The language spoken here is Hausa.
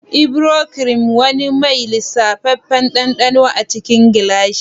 Ivory Cream: wani mai lisafeffen dandano a cikin gilashi.